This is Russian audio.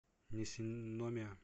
нисиномия